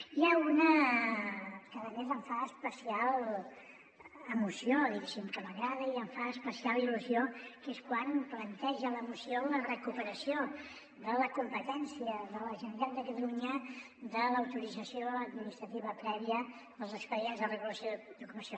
n’hi ha una que a més em fa especial emoció diguéssim que m’agrada i em fa es·pecial il·lusió que és quan planteja la moció la recuperació de la competència de la generalitat de catalunya de l’autorització administrativa prèvia als expedients de re·gulació d’ocupació